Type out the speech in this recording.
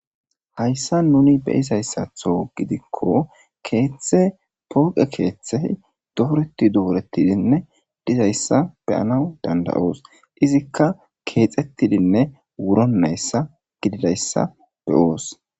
Haysa nuni beyizasatho gidiko kethe tuqe kethey doreti doreti dizzysa beyanaw dandayos. Kexetidinne wuronaysa beyos.